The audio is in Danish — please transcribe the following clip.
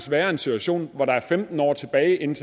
være en situation hvor der er femten år tilbage inden